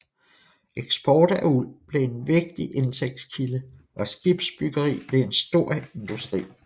Eksport af uld blev en vigtig indtægtskilde og skibsbyggeri blev en stor industri